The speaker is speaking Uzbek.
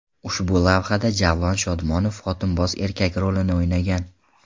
Ushbu lavhada Javlon Shodmonov xotinboz erkak rolini o‘ynagan.